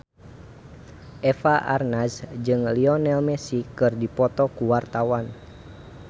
Eva Arnaz jeung Lionel Messi keur dipoto ku wartawan